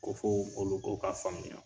Ko fɔ o koloko ka faamuya.